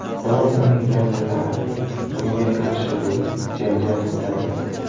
Biroq uning yaqinlari bunga qarshi bo‘lib, janjal ko‘targan.